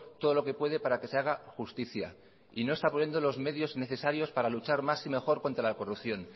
todo lo que puede para que se haga justicia y no está poniendo los medios necesarios para luchar más y mejor contra la corrupción